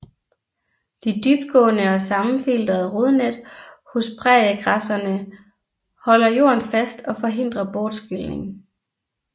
De dybtgående og sammenfiltrede rodnet hos præriegræsserne holder jorden fast og forhindrer bortskylning